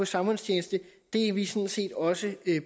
samfundstjeneste er vi sådan set også